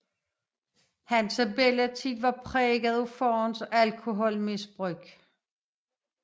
Hans barndom var præget af faderens alkoholmisbrug